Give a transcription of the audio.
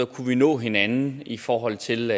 kunne nå hinanden i forhold til